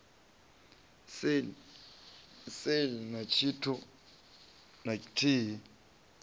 sale na tshithu na tshithihi